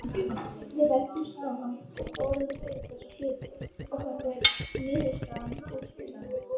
Við ræddum saman og fórum yfir þessa hluti og þetta er niðurstaðan úr því.